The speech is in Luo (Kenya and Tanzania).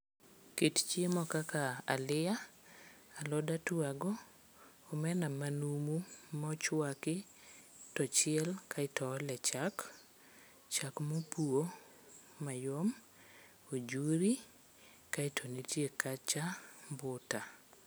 Kit chiemo kaka aliya, alod atwago, omena manumu mochwaki tochiel kaeto oole chak, chak mopuo mayom, ojuri kaeto nitie kacha mbuta.